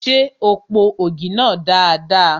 Ṣé o po ògì náà dada?